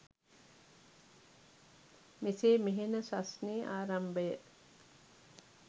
මෙසේ මෙහෙණ සස්නේ ආරම්භය